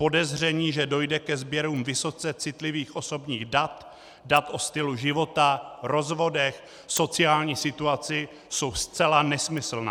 Podezření, že dojde ke sběrům vysoce citlivých osobních dat, dat o stylu života, rozvodech, sociální situaci, jsou zcela nesmyslná.